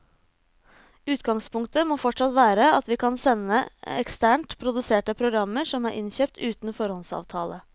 Utgangspunktet må fortsatt være at vi kan sende eksternt produserte programmer som er innkjøpt uten foråndsavtale.